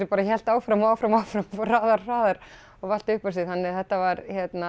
bara hélt áfram og áfram og áfram og fór hraðar hraðar og vatt upp á sig þannig að þetta var